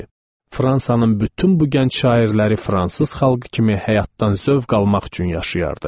Fransanın bütün bu gənc şairləri fransız xalqı kimi həyatdan zövq almaq üçün yaşayardı.